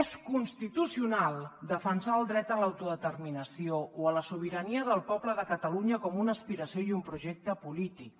és constitucional defensar el dret a l’autodeterminació o a la sobirania del poble de catalunya com una aspiració i un projecte polític